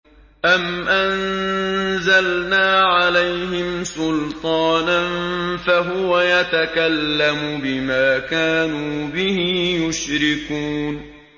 أَمْ أَنزَلْنَا عَلَيْهِمْ سُلْطَانًا فَهُوَ يَتَكَلَّمُ بِمَا كَانُوا بِهِ يُشْرِكُونَ